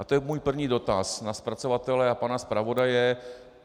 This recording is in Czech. A to je můj první dotaz na zpracovatele a pana zpravodaje.